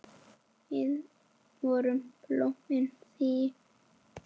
Við vorum blómin þín.